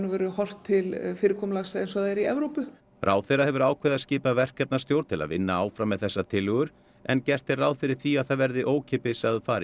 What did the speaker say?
horft til fyrirkomulags eins og það er í Evrópu ráðherra hefur ákveðið að skipa verkefnastjórn til að vinna áfram með þessar tillögur en gert er ráð fyrir því að það verði ókeypis að fara í